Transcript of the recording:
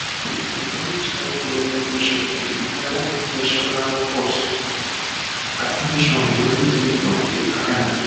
to dey manage high blood pressure dey require professional at ten tion wen symptoms dey arise